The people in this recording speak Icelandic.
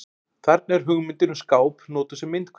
Þarna er hugmyndin um skáp notuð sem myndhverfing.